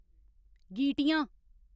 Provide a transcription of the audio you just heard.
गीटियां